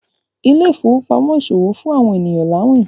Ile-ifowopamọ ìṣòwò fún awọn ènìyàn lawin.